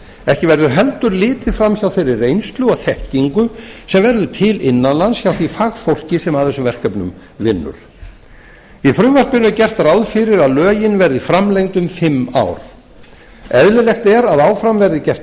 ekki verður heldur litið framhjá þeirri reynslu og þekkingu sem verður til innan lands hjá því fagfólki sem að þessum verkefnum vinnur í frumvarpinu er gert ráð fyrir að lögin verði framlengd um fimm ár eðlilegt er að áfram verði gert